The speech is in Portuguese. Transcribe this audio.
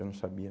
Eu não sabia.